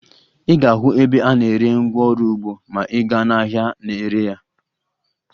Ị ga-ahụ ebe a na-ere ngwaọrụ ugbo ma ị gaa n'ahịa na-ere ya